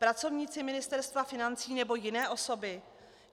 Pracovníci Ministerstva financí, nebo jiné osoby?